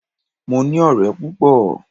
Mo ní ọ̀rẹ́ púpọ̀.